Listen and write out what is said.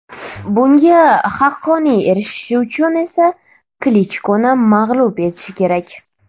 Bunga haqqoniy erishishi uchun esa Klichkoni mag‘lub etishi kerak.